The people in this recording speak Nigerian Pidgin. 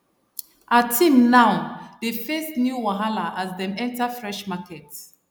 her team now dey face new wahala as dem enter fresh market